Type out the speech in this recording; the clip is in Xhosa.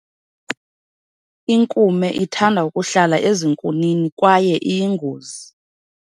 Inkume ithanda ukuhlala ezinkunini kwaye iyingozi.